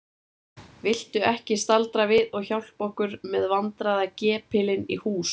Viltu ekki staldra við og hjálpa okkur með vandræðagepilinn í hús?